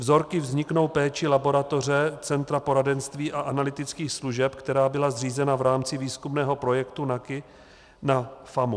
Vzorky vzniknou péčí laboratoře Centra poradenství a analytických služeb, která byla zřízena v rámci výzkumného projektu NAKI na FAMU.